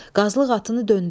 Qazılıq atını döndərdi.